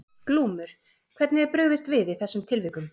Glúmur: Hvernig er brugðist við í þessum tilvikum?